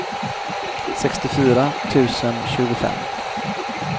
sextiofyra tusen tjugofem